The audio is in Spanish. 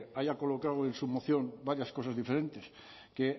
ahí ha colocado en su moción varias cosas diferentes que